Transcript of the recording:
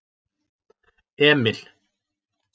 Emil